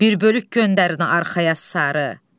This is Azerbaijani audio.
Bir bölük göndərin arxaya sarı.